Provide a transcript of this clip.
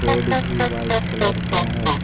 Board भी white colour का है।